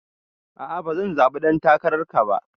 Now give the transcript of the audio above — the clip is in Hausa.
A'a bazan zaɓi ɗan takararka ba.